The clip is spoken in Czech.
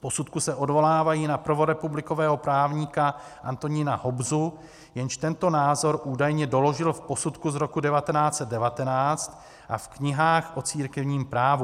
V posudku se odvolávají na prvorepublikového právníka Antonína Hobzu, jenž tento názor údajně doložil v posudku z roku 1919 a v knihách o církevním právu.